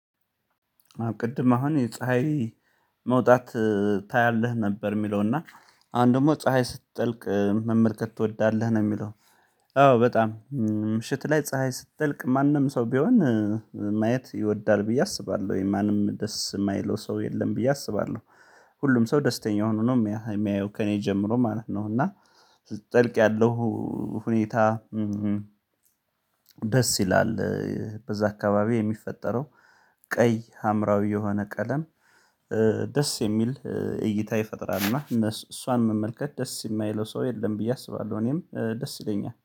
ቅድም አሁን የፀሀይ መውጣት ታያለህ ነበር የሚለው እና አንድ ደግሞ ፀሀይ ስትጠልቅ መመልከት ትወዳለህ ነው የሚለው? አዎ በጣም ምሽት ላይ ፀሀይ ስትጠልቅ ማንም ሰው ቢሆን ማየት ይወዳል ብዬ አስባለሁ ወይ ማንም ደስ የማይለው ሰው የለም ብዬ አስባለሁ። ሁሉም ሰው ደስተኛ ሆኖ ነው የሚያየው ከእኔ ጀምሮ ማለት ነው እና ስትጥልቅ ያለው ሁኔታ። ደስ ይላል በዛ አካባቢ የሚፈጠረው ቀይ ሀምራዊ የሆነ ቀለም ደስ የሚል እይታ ይፈጥራል። እና እነሱ እሷን መመልከት ደስ የማይለው ሰው የለም ብዬ አስባለሁ እኔም ደስ ይለኛል